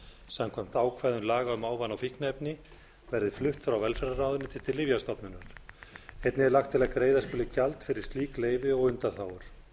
samkvæmt ákvæðum laga um ávana og fíkniefni verði flutt frá velferðarráðuneyti til lyfjastofnunar einnig er lagt til að greiða skuli gjald fyrir slík leyfi og undanþágur